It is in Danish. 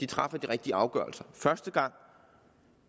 træffer de rigtige afgørelser første gang